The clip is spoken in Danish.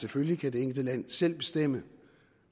selvfølgelig kan det enkelte land selv bestemme